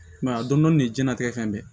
Mɛ a dɔn dɔni de ye diɲɛlatigɛ fɛn bɛɛ ye